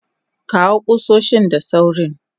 kawo kusoshin da sawrin